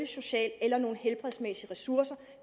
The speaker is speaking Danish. sociale og helbredsmæssige ressourcer der